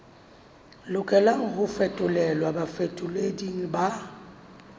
lokelang ho fetolelwa bafetoleding ba